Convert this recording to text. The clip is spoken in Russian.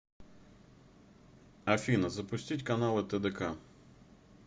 афина запустить каналы тдк